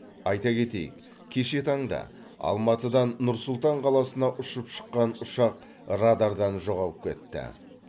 айта кетейік кеше таңда алматыдан нұр сұлтан қаласына ұшып шыққан ұшақ радардан жоғалып кетті